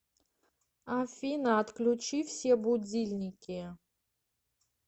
афина отключи все будильники